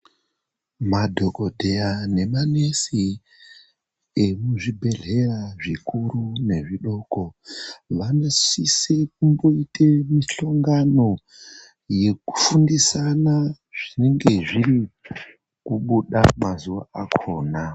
Madhokodheya nemanesi emuzvibhedhlera zvikuru nezvidoko vanosise kumboite mihlongano yekufundisana zvinenge zviri kubuda mazuwa akhona.